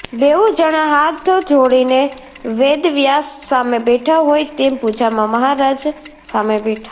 બેઉ જણા હાથ જોડીને વેદવ્યાસ સામે બેઠા હોય તેમ પૂજામાં મહારાજ સામે બેઠા